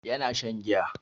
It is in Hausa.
Yana shan giya.